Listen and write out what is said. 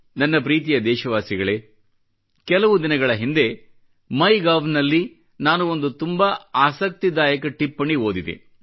ನನ್ನ ಪ್ರೀತಿಯ ದೇಶವಾಸಿಗಳೇ ಕೆಲವು ದಿನಗಳ ಹಿಂದೆ ಮೈಗೋವ್ ನಲ್ಲಿ ನಾನು ಒಂದು ತುಂಬಾ ಆಸಕ್ತಿದಾಯಕ ಟಿಪ್ಪಣಿ ಓದಿದೆ